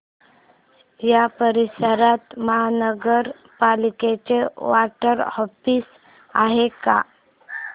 या परिसरात महानगर पालिकेचं वॉर्ड ऑफिस आहे का